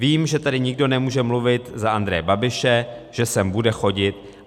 Vím, že tady nikdo nemůže mluvit za Andreje Babiše, že sem bude chodit.